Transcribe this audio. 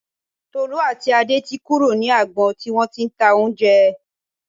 Tolú àti Adé ti kúrò ní agbọn tí wọ́n ti ń ta oúnjẹ